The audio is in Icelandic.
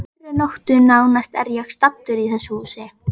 Á hverri nóttu nánast er ég staddur í þessu húsi.